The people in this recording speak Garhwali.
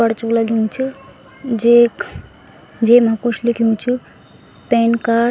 परचु लग्यूं च जेख जेमा कुछ लिख्युं च पैन कार्ड ।